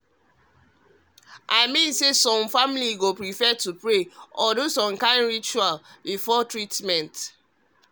i mean say ah some families go prefer to pray or do some kind ritual some kind ritual before treatment.